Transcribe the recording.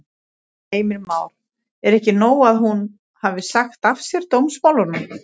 Heimir Már: Er ekki nóg að hún hafi sagt af sér dómsmálunum?